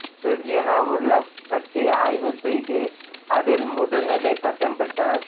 Virginia உள்ஃப் பற்றி ஆய்வு செய்து அதில் முதுநிலை பட்டம் பெற்றார்